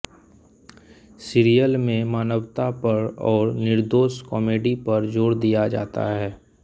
serial में मानवता पर और निर्दोष कॉमेडी पर जोर दिया जाता है